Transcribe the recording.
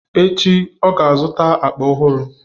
echi, ọ ga-azụta akpa ọhụrụ.